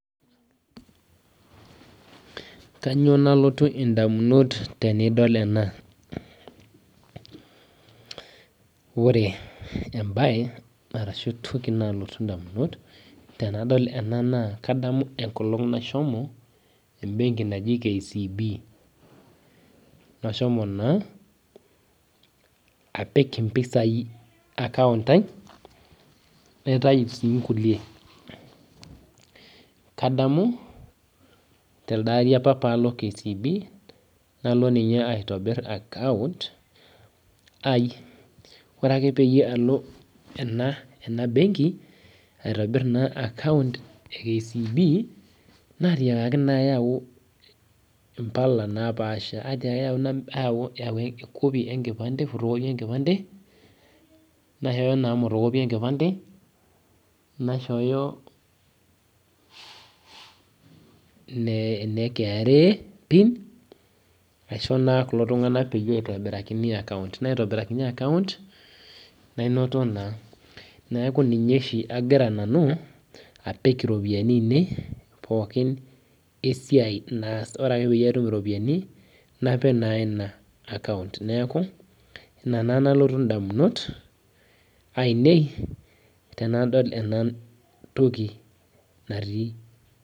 Re-reading the promt.